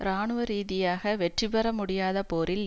இராணுவ ரீதியாக வெற்றி பெற முடியாத போரில்